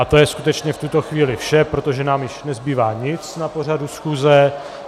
A to je skutečně v tuto chvíli vše, protože nám již nezbývá nic na pořadu schůze.